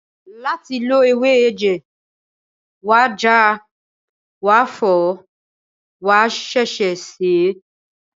Láti lo ewé ẹ̀jẹ̀, wàá ja, wàá fọ̀ọ́, wàá ṣẹ̀ṣẹ̀ sèé